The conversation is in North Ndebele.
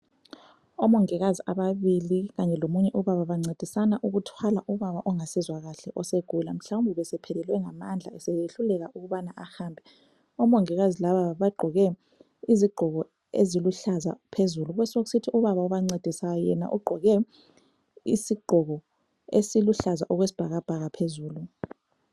Omongikazi ababili kanye lomunye ubaba bancedisana ukuthwala ubaba ongasezwa kahle osegula. Mhlawumbe ubesephelelwe ngamandla esehluleka ukubana ahambe. Omongikazi laba bagqoke izigqoko eziluhlaza phezulu besekusithi ubaba obancedisayo yena ugqoke isigqoko esiluhlaza okwesibhakabhaka phezulu.